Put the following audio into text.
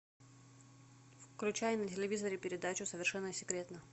включай на телевизоре передачу совершенно секретно